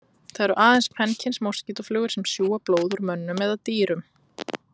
Það eru aðeins kvenkyns moskítóflugur sem sjúga blóð úr mönnum eða dýrum.